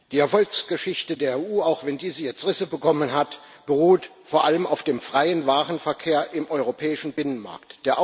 Die Erfolgsgeschichte der EU auch wenn diese jetzt Risse bekommen hat beruht vor allem auf dem freien Warenverkehr im europäischen Binnenmarkt.